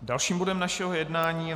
Dalším bodem našeho jednání je